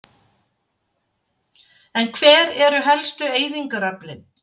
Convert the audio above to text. En hver eru helstu eyðingaröflin?